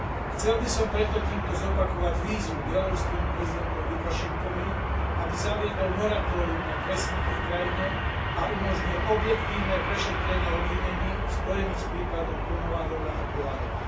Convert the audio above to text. Chcel by som preto týmto zopakovať výzvu bieloruskému prezidentovi Lukašenkovi, aby zaviedol moratórium na trest smrti v krajine a umožnil objektívne prešetrenie obvinení spojených s prípadom Konovaľova a Kovaľova.